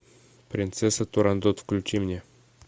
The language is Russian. принцесса турандот включи мне